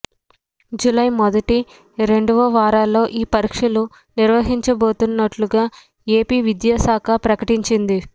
July మొదటి రెండవ వారంలో ఈ పరీక్షలు నిర్వహించబోతున్నట్లుగా ఏపీ విద్యా శాఖ ప్రకటించింది